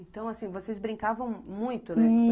Então, assim, vocês brincavam muito, né?